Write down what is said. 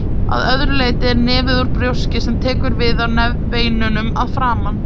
Að öðru leyti er nefið úr brjóski sem tekur við af nefbeinunum að framan.